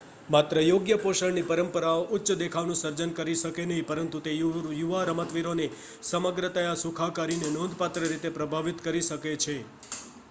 માત્ર યોગ્ય પોષણની પરંપરાઓ ઉચ્ચ દેખાવનું સર્જન કરી શકે નહીં પરંતુ તે યુવા રમતવીરોની સમગ્રતયા સુખાકારીને નોંધપાત્ર રીતે પ્રભાવિત કરી શકે છે